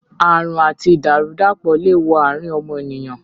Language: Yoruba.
Àrùn àti ìdàrú-dàpọ̀ le wo àrín ọmọnìyàn